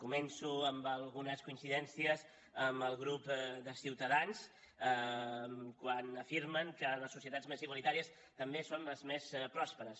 començo amb algunes coincidències amb el grup de ciutadans quan afirmen que les societats més igualitàries també són les més pròsperes